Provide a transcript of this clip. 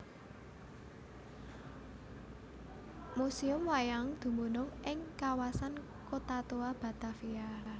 Museum Wayang dumunung ing Kawasan Kota Tua Batavia